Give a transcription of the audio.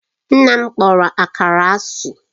Nna m kpọrọ Akara asị